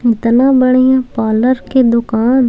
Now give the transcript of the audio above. इतनी बढ़िया पार्लर के दुकान--